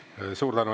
Suur tänu!